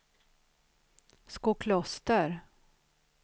Skokloster